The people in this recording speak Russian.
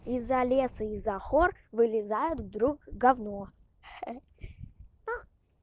из-за леса из-за гор вылезает вдруг гавно ха-ха